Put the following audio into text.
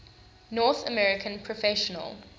north american professional